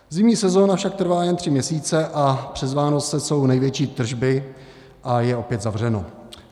Zimní sezóna však trvá jen tři měsíce a přes Vánoce jsou největší tržby, a je opět zavřeno.